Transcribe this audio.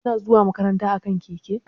Kuna zuwa makaranta akan keke?